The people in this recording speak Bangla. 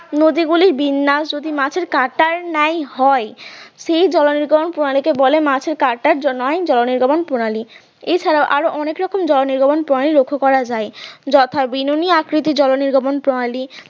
নদী গুলির বিন্যাস যদি মাছের কাটার ন্যায় হয় সেই জল নির্গমন প্রণালী কে বলা হয় মাছের কাঁটার ন্যায় জল নির্গমন প্রণালী এছাড়াও আরো অনেক রকম জলও নির্গমন প্রণালী লক্ষ্য করা যায় যথা বিনুনি আকৃতির জল নির্গমন প্রণালী